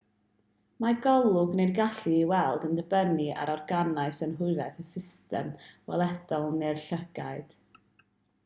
mae golwg neu'r gallu i weld yn dibynnu ar organau synhwyraidd y system weledol neu'r llygaid